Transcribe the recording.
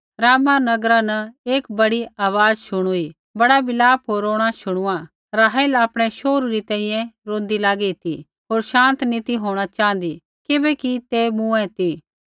रामाह नगरा न एक बड़ी आवाज़ शुणुई बड़ा विलाप होर रोणां शुणुआ राहेल आपणै शोहरू री तैंईंयैं रोंदी लागी ती होर शान्त नी ती होंणा च़ाँहदी किबैकि ते मूँऐ ती